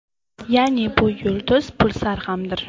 Ya’ni bu yulduz pulsar hamdir.